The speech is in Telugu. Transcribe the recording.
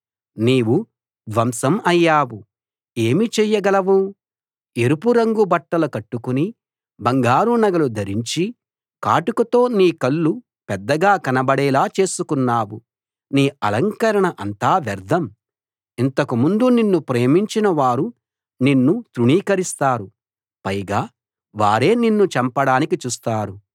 నీవు ధ్వంసం అయ్యావు ఏమి చేయగలవు ఎరుపు రంగు బట్టలు కట్టుకుని బంగారు నగలు ధరించి కాటుకతో నీ కళ్ళు పెద్దగా కనబడేలా చేసుకున్నావు నీ అలంకరణ అంతా వ్యర్ధం ఇంతకు ముందు నిన్ను ప్రేమించిన వారు నిన్ను తృణీకరిస్తారు పైగా వారే నిన్ను చంపడానికి చూస్తారు